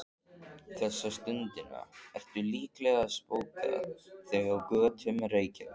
Þessa stundina ertu líklega að spóka þig á götum Reykjavíkur.